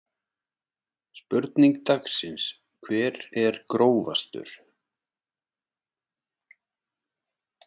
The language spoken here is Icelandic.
Spurning dagsins: Hver er grófastur?